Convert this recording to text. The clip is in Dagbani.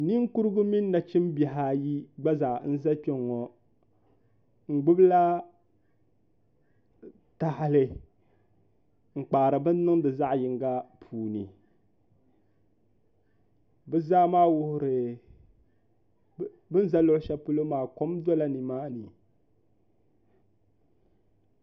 Ninkurugu mini nachimbihi ayi gba zaa n ʒɛ kpɛŋŋo n gbubila tahali n kpaari bin niŋdi zaɣ yinga puuni bi ni ʒɛ luɣu shɛli polo maa kom dola nimaani